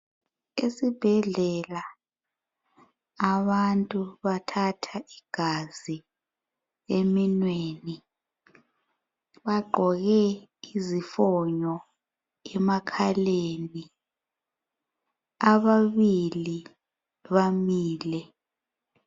Esibhedlela abantu bathatha igazi eminweni. Bagqoke izifonyo emakhaleni, ababili bamile.